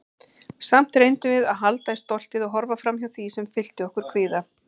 Samt reyndum við að halda í stoltið- og horfa framhjá því sem fyllti okkur kvíða.